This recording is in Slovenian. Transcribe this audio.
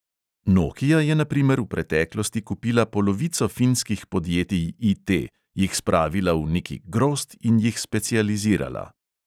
Nokia je na primer v preteklosti kupila polovico finskih podjetij IT, jih spravila v neki grozd in jih specializirala.